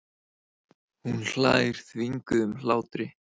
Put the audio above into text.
Hún hlær þvinguðum hlátri.